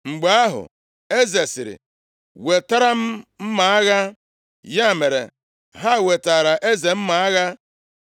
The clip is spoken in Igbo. Mgbe ahụ, eze sịrị, “Wetara m mma agha.” Ya mere, ha wetaara eze mma agha.